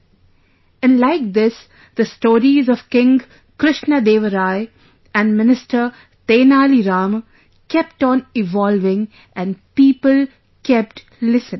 " And like this the stories of King Krishnadeva Rai and minister Tenali Rama kept on evolving and people kept listening